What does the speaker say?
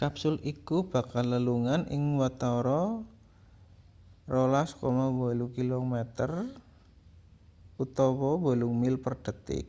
kapsul iku bakal lelungan ing watara 12,8 km utawa 8 mil per detik